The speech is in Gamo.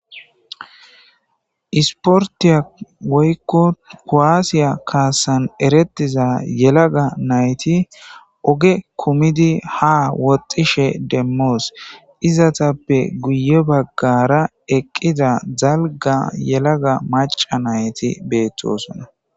Isporttiya woykko kuwasiya kaassan erettiza yelaga nayti oge kummidi ha woxxishe demmoos izetappe guye baggara eqqiza dalgga yelaga macca nayti beettosona.